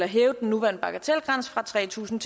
hæve den nuværende bagatelgrænse fra tre tusind